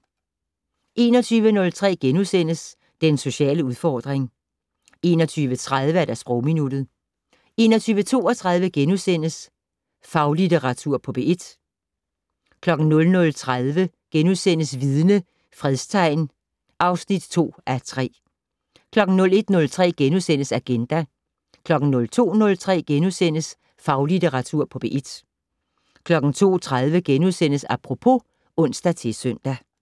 21:03: Den sociale udfordring * 21:30: Sprogminuttet 21:32: Faglitteratur på P1 * 00:30: Vidne - Fredstegn (2:3)* 01:03: Agenda * 02:03: Faglitteratur på P1 * 02:30: Apropos *(ons-søn)